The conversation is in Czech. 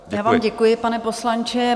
Já vám děkuji, pane poslanče.